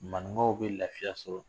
Manumaw bɛ lafiya sɔrɔ